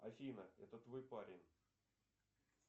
афина это твой парень